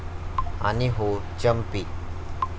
आणि हो चंपी.